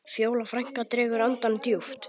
Fjóla frænka dregur andann djúpt.